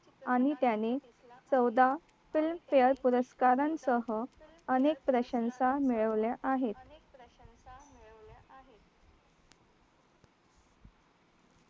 आणि त्याने चौदा film fare पुरस्कारांसह अनेक प्रशंसा मिळवल्या आहेत